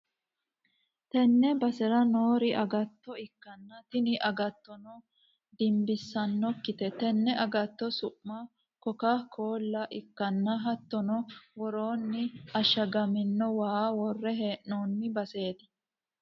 tenne basera noori agatto ikkanna, tini agattono dinbissannokkite, tenne agatto su'mi koka-koolla ikkanna, hattono woroonni ashagamino waa worre hee'noonni baseeti.